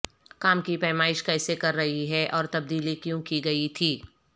کام کی پیمائش کیسے کر رہی ہے اور تبدیلی کیوں کی گئی تھی